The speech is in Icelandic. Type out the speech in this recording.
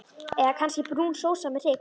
Eða kannski brún sósa með hrygg?